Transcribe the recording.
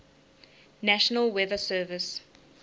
national weather service